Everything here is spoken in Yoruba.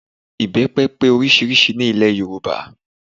Ìbẹ́pẹ pé oríṣiríṣi ní ilẹ̀ Yorùbá